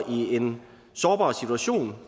i en sårbar situation